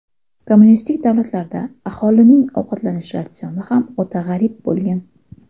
Kommunistik davlatlarda aholining ovqatlanish ratsioni ham o‘ta g‘arib bo‘lgan.